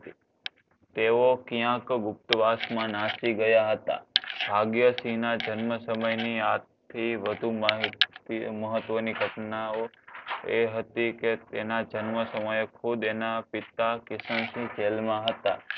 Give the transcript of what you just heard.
ગુપ્તવાસમાં નાસી ગયા હતા. ભાગ્યશી ના જન્મસમય ની આજ થી વધુ મહત્વની ઘટનાઓ એ હતી કે તેના જન્મ સમયે ખુદ એના પિતા કિશનસિંહ જેલમાં હતા.